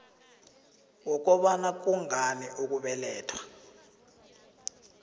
wokobana kungani ukubelethwa